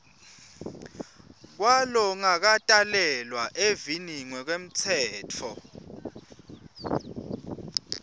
kwalongakatalelwa eveni ngekwemtsetfo